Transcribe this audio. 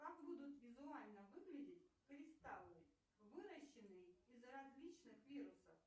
как будут визуально выглядеть кристаллы выращенные из различных вирусов